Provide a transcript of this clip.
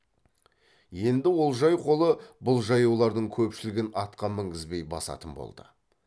енді олжай қолы бұл жаяулардың көпшілігін атқа мінгізбей басатын болды